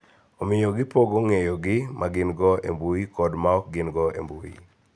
Omiyo, gipogo ng�eyogi ma gin-go e mbui kod ma ok gin-go e mbui.